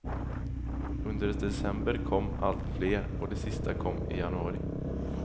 Under december kom alltfler och de sista kom i januari.